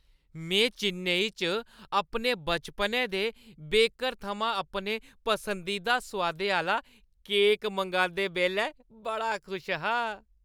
में चेन्नई च अपने बचपनै दे बेकर थमां अपने पसंदीदा सोआदै आह्‌ला केक मंगांदे बेल्लै बड़ा खुश हा।